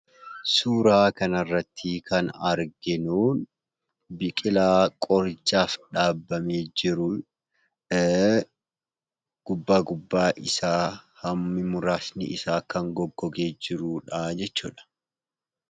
Suuraa kanarratti kan arginuu biqilaa qorichaaf dhaabbamee jirudha. Gubbaa gubbaa isaa hammi muraasni isaa kan goggogee jirudhaa jechuudha.